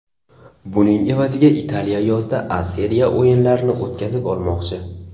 Buning evaziga Italiya yozda A Seriya o‘yinlarini o‘tkazib olmoqchi.